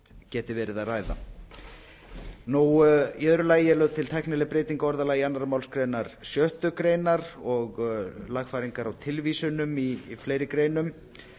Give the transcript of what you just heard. geti verið að ræða í eru lagi er lögð til tæknileg breyting á orðalagi annarri málsgrein sjöttu greinar og lagfæringar á tilvísunum í fleiri greinum